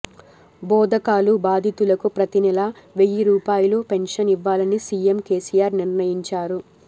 బోదకాలు బాధితులకు ప్రతీ నెలా వెయ్యి రూపాయల పెన్షన్ ఇవ్వాలని సీఎం కేసీఆర్ నిర్ణయించారు